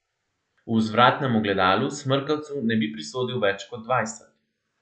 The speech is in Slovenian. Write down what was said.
V vzvratnem ogledalu smrkavcu ne bi prisodil več kot dvajset.